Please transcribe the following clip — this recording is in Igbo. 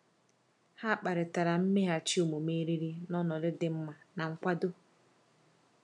Ha kparịtara mmeghachi omume eriri n’ọnọdụ dị mma na nkwado.